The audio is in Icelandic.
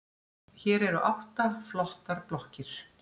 Hér eru átta flottar blokkir.